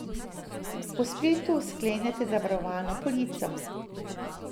Po spletu sklenete zavarovalno polico.